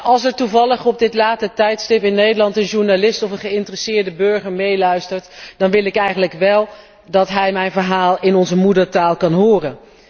Als er toevallig op dit late tijdstip in Nederland een journalist of een geïnteresseerde burger meeluistert, wil ik wel dat hij mijn verhaal in onze moedertaal kan horen.